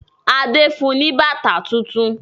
Adé fun ní bàtà tuntun.